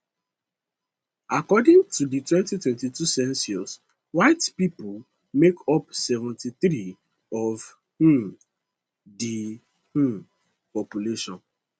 according to di 2022 census white pipo make up 73 of um di um population